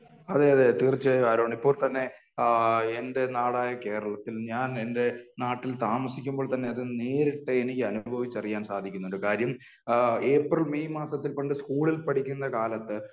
അതേ അതേ തീർച്ചയായും ആരോൺ . ഇപ്പോൾ തന്നെ എന്റെ നാടായ കേരളത്തിൽ ഞാൻ എന്റെ നാട്ടിൽ താമസിക്കുമ്പോൾ തന്നെ അത് നേരിട്ട് എനിക്ക് അനുഭവിച്ച് അറിയാൻ സാധിക്കുന്നുണ്ട്. കാര്യം ഏപ്രിൽ മെയ് മാസത്തിൽ പണ്ട് സ്കൂളിൽ പഠിക്കുമ്പോൾ